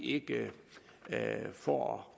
ikke får